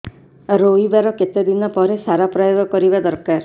ରୋଈବା ର କେତେ ଦିନ ପରେ ସାର ପ୍ରୋୟାଗ କରିବା ଦରକାର